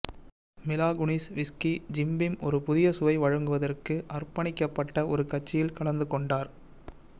மிலா Kunis whisky Jim Beam ஒரு புதிய சுவை வழங்குவதற்கு அர்ப்பணிக்கப்பட்ட ஒரு கட்சியில் கலந்து கொண்டார்